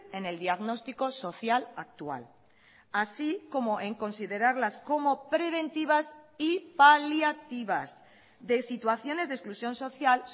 en el diagnóstico social actual así como en considerarlas como preventivas y paliativas de situaciones de exclusión social